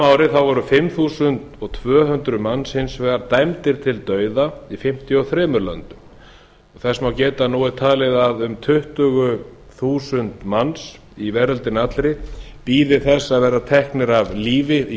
ári voru fimm þúsund tvö hundruð manns hins vegar dæmdir til dauða í fimmtíu og þremur löndum þess má geta að nú er talið að um tuttugu þúsund manns í veröldinni allri bíði þess að verða teknir af lífi í